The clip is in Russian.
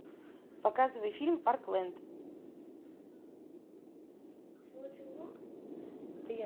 показывай фильм парклэнд